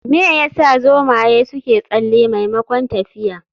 Me yasa zomaye suke tsalle maimakon tafiya?